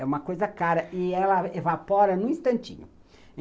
É uma coisa cara, e ela evapora num instantinho.